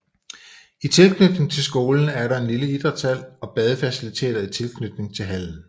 I tilknytning til skolen er der en lille idrætshal og badefaciliteter i tilknytning til hallen